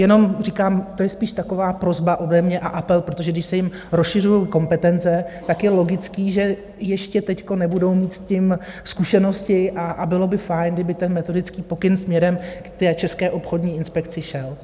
Jenom říkám, to je spíš taková prosba ode mě a apel, protože když se jim rozšiřují kompetence, tak je logické, že ještě teď nebudou mít s tím zkušenosti, a bylo by fajn, kdyby ten metodický pokyn směrem k té České obchodní inspekci šel.